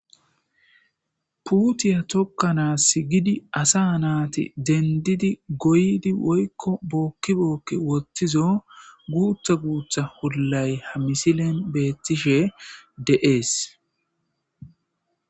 puutiya tokkanaass gidi asa naati dendidi goydi woykko bookki bookki wottizo guuta guutha hollay ha misilen beettishe de7ees